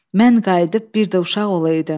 Mən qayıdıb bir də uşaq olaydım.